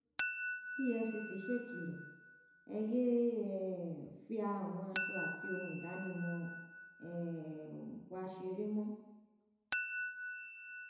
efcc ṣèkìlọ ẹ yéé um fi àwọn aṣọ àti ohun ìdánimọ um wa ṣeré mọ